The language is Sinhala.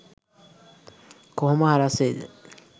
කො‍හො‍ම ‍හ‍රස්‍ ‍වෙ‍යි ‍ද?